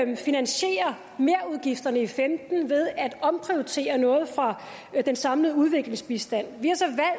vi finansierer merudgifterne i femten ved at omprioritere noget fra den samlede udviklingsbistand vi